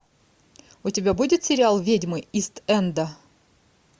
у тебя будет сериал ведьмы ист энда